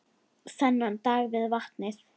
Þennan dag við vatnið.